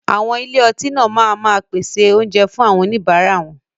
Àwọn ilé ọtí náà máa ma pèsè oúnjẹ fún àwọn oníbàárà wọn.